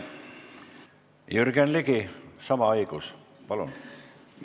Jürgen Ligi, sama õigus, palun!